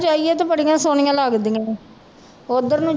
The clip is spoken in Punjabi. ਜਾਈਏ ਤੇ ਬੜੀਆਂ ਸੋਹਣੀਆਂ ਲੱਗਦੀਆਂ ਨੇ, ਉੱਧਰ ਨੂੰ